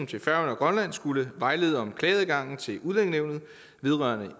til færøerne og grønland skulle vejlede om klageadgangen til udlændingenævnet vedrørende